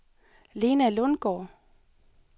Lena Lundgaard